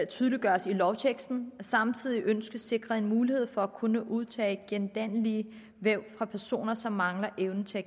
tydeliggøres i lovteksten samtidig ønskes sikret en mulighed for at kunne udtage gendannelige væv fra personer som mangler evnen til at